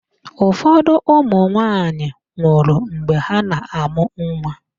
Ụfọdụ ụmụnwaanyị nwụrụ mgbe ha na-amụ nwa.